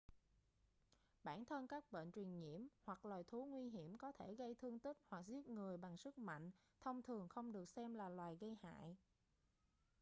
bản thân các bệnh truyền nhiễm hoặc loài thú nguy hiểm có thể gây thương tích hoặc giết người bằng sức mạnh thông thường không được xem là loài gây hại